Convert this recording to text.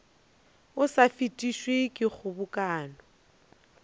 o sa fetišwe ke kgobokano